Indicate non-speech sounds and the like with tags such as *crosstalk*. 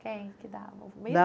Quem que dava? *unintelligible*